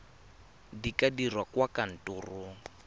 di ka dirwa kwa kantorong